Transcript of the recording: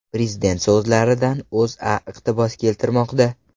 Prezident so‘zlaridan O‘zA iqtibos keltirmoqda .